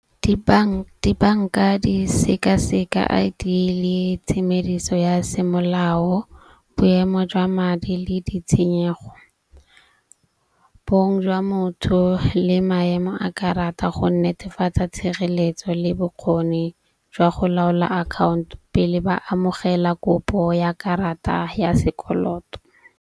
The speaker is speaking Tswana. Dibanka di sekaseka I_D le tshemediso ya semolao, boemo jwa madi le ditshenyego, bong jwa motho le maemo a karata go netefatsa tshireletso le bokgoni jwa go laola account pele ba amogela kopo ya karata ya sekoloto.